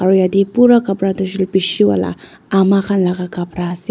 aro yatae pura kapra tu hoishey kulae bishi wala ama khan laka kapra ase.